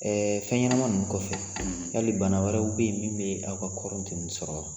Ɛɛ fɛn ɲɛnama ninnu kɔfɛ , yali bana wɛrɛw bɛ yen min bɛ aw ka kɔɔriw tɛ min sɔrɔ wa?